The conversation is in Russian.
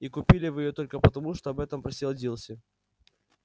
и купили вы её только потому что об этом просила дилси